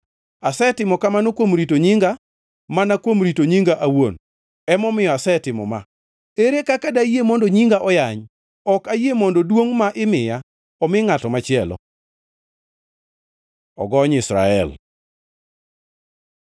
Asetimo kamano kuom rito nyinga, mana kuom rito nyinga awuon, emomiyo asetimo ma. Ere kaka dayie mondo nyinga oyany? Ok ayie mondo duongʼ ma imiya, omi ngʼato machielo.” Ogony Israel